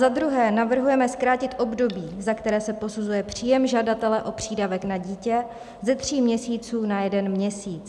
Za druhé navrhujeme zkrátit období, za které se posuzuje příjem žadatele o přídavek na dítě, ze tří měsíců na jeden měsíc.